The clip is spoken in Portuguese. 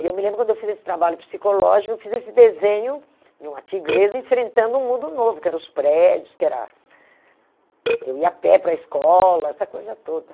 E eu me lembro, quando eu fiz esse trabalho psicológico, eu fiz esse desenho de uma tigresa enfrentando um mundo novo, que eram os prédios, que era... Eu ia a pé para a escola, essa coisa toda.